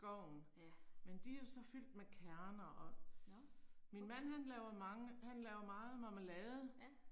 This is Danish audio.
Ja. Nåh, okay. Ja